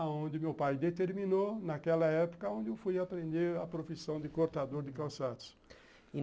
aonde meu pai determinou, naquela época onde eu fui aprender a profissão de cortador de calçados.